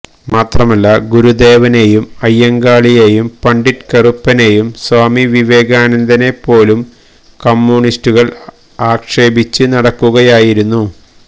മാത്രമല്ല ഗുരുദേവനെയും അയ്യങ്കാളിയെയും പണ്ഡിറ്റ് കറുപ്പനെയും സ്വാമി വിവേകാനന്ദനെ പോലും കമ്മ്യൂണിസ്റ്റുകള് ആക്ഷേപിച്ച് നടക്കുകയായിരുന്നു